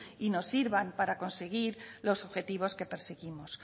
y nos sirvan para conseguir los objetivos que perseguimos